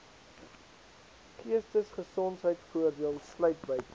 geestesgesondheidvoordeel sluit buite